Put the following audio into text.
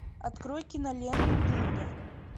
открой киноленту дылда